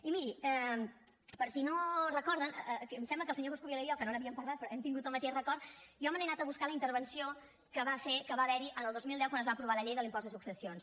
i miri per si no ho recorden em sembla que el senyor coscubiela i jo que no n’havíem parlat però hem tingut el mateix record jo me n’he anant a buscar la intervenció que va fer que va haverhi el dos mil deu quan es va aprovar la llei de l’impost de successions